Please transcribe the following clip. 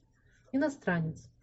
иностранец